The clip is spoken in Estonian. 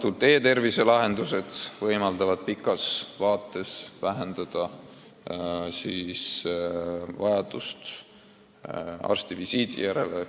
Ja e-tervise lahendused võimaldavad kaugemas tulevikus vähendada vajadust arstivisiidi järele.